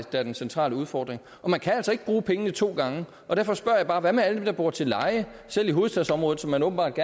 er den centrale udfordring og man kan altså ikke bruge pengene to gange derfor spørger jeg bare hvad med alle dem der bor til leje selv i hovedstadsområdet som man åbenbart